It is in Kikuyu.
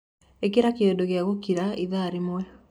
ĩkĩra kiundu gia gukira ĩthaa rĩmwe